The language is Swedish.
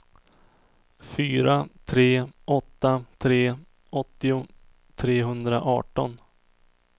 fyra tre åtta tre åttio trehundraarton